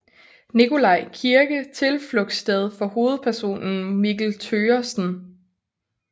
Nikolaj kirke tilflugtssted for hovedpersonen Mikkel Thøgersen